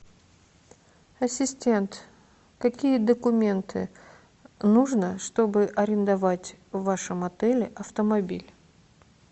ассистент какие документы нужно чтобы арендовать в вашем отеле автомобиль